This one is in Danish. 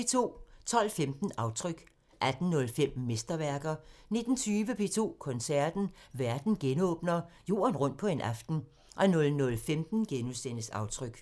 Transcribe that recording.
12:15: Aftryk 18:05: Mesterværker 19:20: P2 Koncerten – Verden genåbner: Jorden rundt på en aften 00:15: Aftryk *